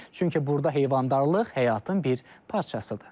Çünki burda heyvandarlıq həyatın bir parçasıdır.